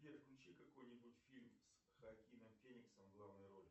сбер включи какой нибудь фильм с хоакином фениксом в главной роли